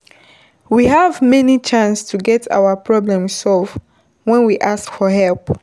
We have more chance to get our problem solved when we ask for help